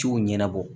Ciw ɲɛnabɔ